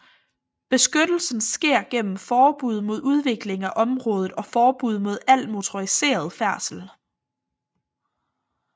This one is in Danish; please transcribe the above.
Beskyttelsen sker gennem forbud mod udvikling af området og forbud mod al motoriseret færdsel